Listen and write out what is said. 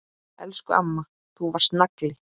Elsku amma, þú varst nagli.